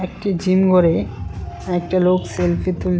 একটি জিমঘরে একটা লোক সেলফি তুলছ--